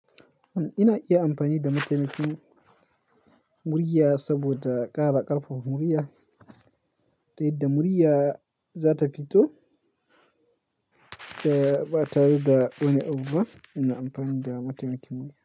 Ina iya amfani da mataimakin murya, saboda ƙara ƙarfafa murya, ta yadda murya za ta fito ba tare da wani abu ba ina amfani da mataimakin murya.